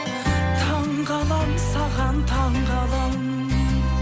таңғаламын саған таңғаламын